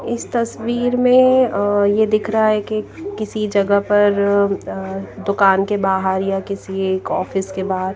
इस तस्वीर में अअये दिख रहा है कि किसी जगह पर अअदुकान के बाहर या किसी एक ऑफिस के बाहर--